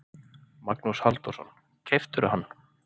Magnús Halldórsson: Keyptirðu hann?